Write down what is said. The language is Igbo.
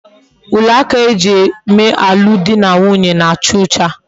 Uwe aka eji eme alum di na nwunye na-acha ocha